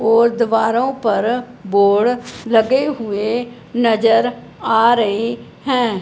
और दीवारों पर बोर्ड लगे हुए नजर आ रहे हैं।